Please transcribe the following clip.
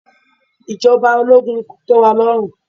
Ìjọba ológun kò tẹ́ wa lọ́rùn